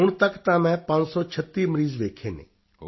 ਹੁਣ ਤੱਕ ਤਾਂ ਮੈਂ 536 ਮਰੀਜ਼ ਵੇਖੇ ਹਨ